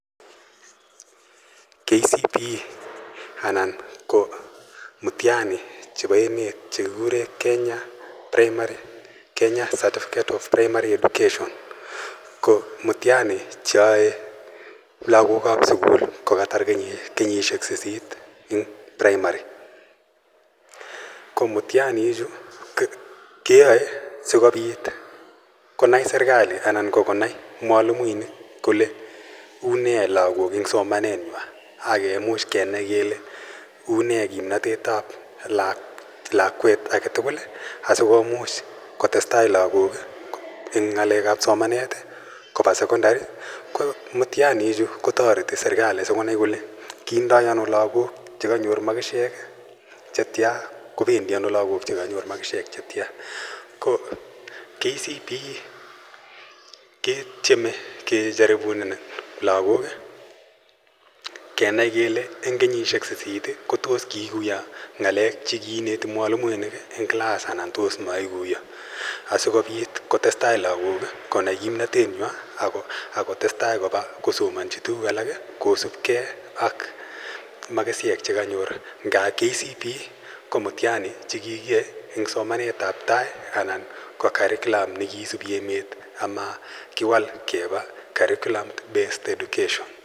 KCPE anan ko mtiani chepo emet che kikure Kenya Certificate of Primary Education ko mtiani che yae lagok ap sukul ko katar kenyishek sisit eng' praimari. Ko mtiani ichu keyae asikopit konai serkali anan ko konai mwalimuinik kole une lagok eng' somanenywa ak kemuch kenai kele une kimnatet ap lakwet age tugul asi komuch kotestai lagok eng' ng'alek ap somanet, kopa sekondari. Ko mtiani ichu kotareti serikali si konai kole kindai ano lagok che kanyor makishek che tya, ko pendi ano lagok che kanyor makishek che tya. Ko KCPE ketieme kejaribunen lagok kenai kele eng' kenyishek sisit kp tos kiikuyo ng'alek che kiineti mwalimuinil eng' klass anan tos maikuya. Asikopit kotes tai lagok konai kimnatenywa ako tes tai kopa kosomanchi tuguuk alak kosupgei ak makishek che kanyor. Nga KCPE ko mtiani che kikiyae eng' somanet ap tai anan ko curriculum ne kiisupi emet ama kiwal kepa Curriculum Based Education.